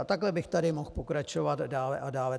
A takhle bych tady mohl pokračovat dále a dále.